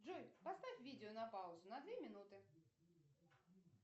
джой поставь видео на паузу на две минуты